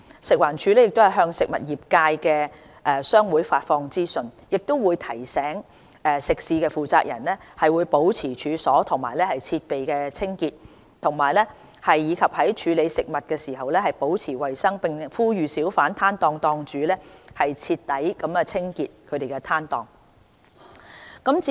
食環署亦向食物業界的商會發放資訊，提醒食肆負責人保持處所和設備清潔，以及在處理食物時保持衞生，並呼籲小販攤檔檔主徹底清潔攤檔。